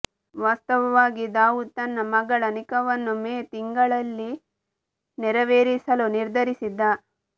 ವಾಸ್ತವವಾಗಿ ದಾವೂದ್ ತನ್ನ ಮಗಳ ನಿಖಾವನ್ನು ಮೇ ತಿಂಗಳಲ್ಲಿ ನೆರವೇರಿಸಲು ನಿರ್ಧರಿಸಿದ್ದ